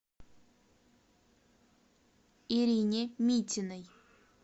ирине митиной